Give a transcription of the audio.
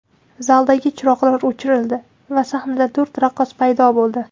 Zaldagi chiroqlar o‘chirildi va sahnada to‘rt raqqos paydo bo‘ldi.